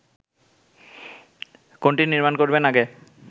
কোনটি নির্মাণ করবেন আগে